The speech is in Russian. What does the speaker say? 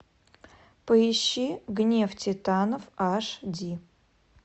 поищи гнев титанов аш ди